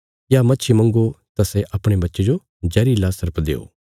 या मच्छी मंग्गो तां सै अपणे बच्चे जो जहरिला सर्प देओ